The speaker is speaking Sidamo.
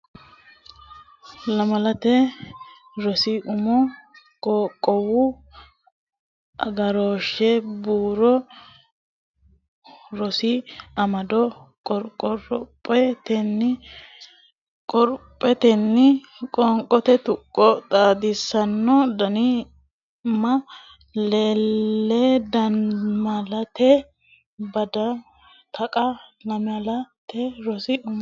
Lamalate Rosi Umo Qaaqquullu Agarooshshe Barru Rosi Amado qo ro pho ten ni qorophotenni Qoonqote Tuqqo Xaadisaanna dan ni ma le dannimale Babbada Taqa Lamalate Rosi Umo.